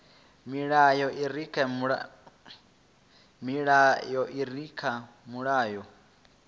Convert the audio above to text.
milayo i re kha mulayo